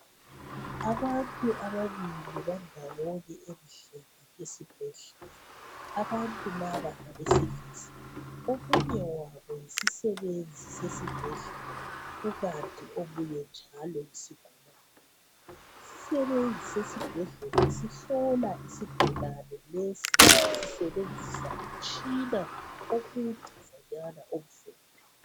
Abantu ababili bandawonye endlini yesibhedlela , abantu laba ngabesilisa , omunye wabo yisisebenzi sesibhedlela kukanti omunye njalo yisigulane , isisebenzi sesibhedlela sihlola isigulane lesi sisebenzisa umtshina omedezanyana omhlophe